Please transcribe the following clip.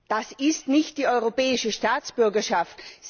Das ist nicht die europäische Staatsbürgerschaft.